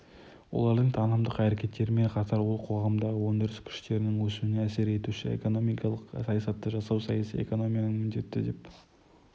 олардың танымдық әрекеттерімен қатар ол қоғамдағы өндіріс күштерінің өсуіне әсер етуші экономикалық саясатты жасау саяси экономияның міндеті деп